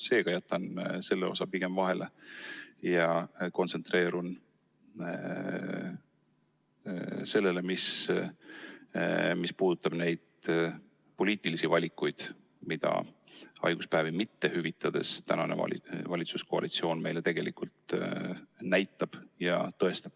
Seega jätan selle osa pigem vahele ja kontsentreerun sellele, mis puudutab neid poliitilisi valikuid, mida haiguspäevi mitte hüvitades tänane valitsuskoalitsioon meile tegelikult näitab.